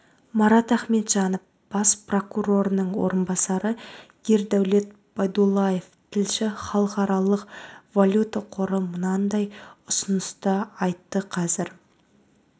марат ахметжанов бас прокурорының орынбасары ердәулет байдуллаев тілші халықаралық валюта қоры мынадай ұсыныс та айтты қазір